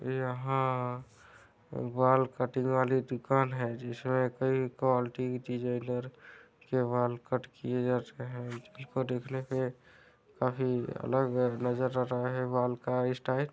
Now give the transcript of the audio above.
यहाँ बाल कटिंग वाली दूकान है जिसमे कई क्वालिटी की चीज़ें इधर के बाल कट किये जाते है इसको देखने पे काफी अलग नज़र आ रहा है बाल का इसटाइल --